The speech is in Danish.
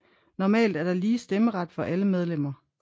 Normalt er der lige stemmeret for alle medlemmer